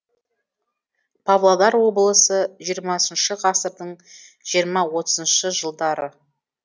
павлодар облысы жиырмасыншы ғасырдың жиырма отызыншы жылдары